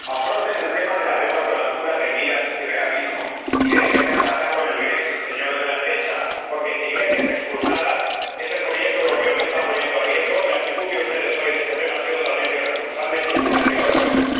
Afronten el tema de la deuda con altura de miras y realismo, y dejen de amenazar con el grexit señores de la derecha, porque, si Grecia es expulsada, es el proyecto europeo el que están poniendo en riesgo, y la actitud de ustedes hoy en este Pleno ha sido totalmente irresponsable y es un auténtica vergüenza.